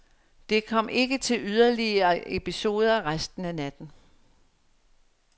Det kom ikke til yderligere episoder resten af natten.